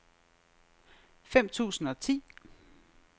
fem tusind og ti